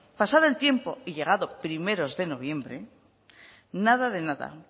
pasado el tiempo y llegado primeros de noviembre nada de nada